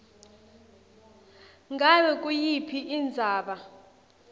ngabe nguyiphi indzaba